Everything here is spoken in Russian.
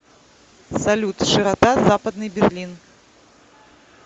салют широта западный берлин